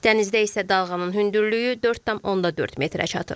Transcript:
Dənizdə isə dalğanın hündürlüyü 4.4 metrə çatır.